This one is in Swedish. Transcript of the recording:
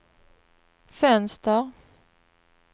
fönster